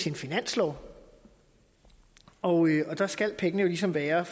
en finanslov og der skal pengene ligesom være